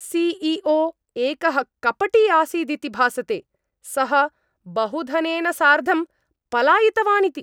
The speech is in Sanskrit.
सि ई ओ एकः कपटी आसीदिति भासते, सः बहुधनेन सार्धं पलायितवानिति।